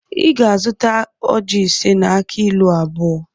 Ị ga-azụta ojị ise na akị ilu abụọ